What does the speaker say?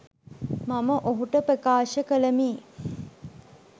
මම ඔහුට ප්‍රකාශ කළෙමි.